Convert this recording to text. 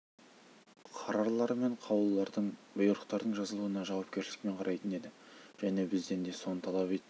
қарарлар мен қаулылардың бұйрықтардың жазылуына жауапкершілікпен қарайтын еді және бізден де соны талап ететін